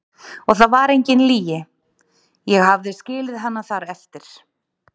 Og það var engin lygi, ég hafði skilið hana þar eftir.